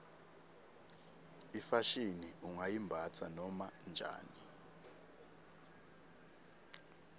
ifashini ungayimbatsa noma njani